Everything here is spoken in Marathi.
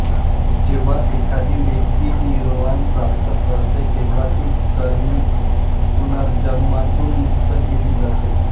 जेव्हा एखादी व्यक्ती निर्वाण प्राप्त करते तेव्हा ती कर्मिक पुनर्जन्मातून मुक्त केली जाते